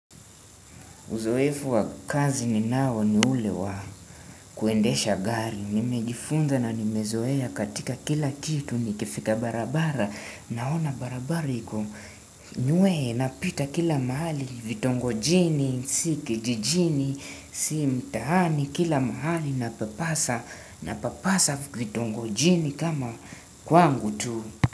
Uzoefu wakazi ni nao ni ule wa kuendesha gari. Nimejifunza na nimezoea katika kila kitu ni kifika barabara. Naona barabariko. Nyue napita kila mahali vitongo jini, siki jijini, si mtahani kila mahali na papasa vitongo jini kama kwangu tu.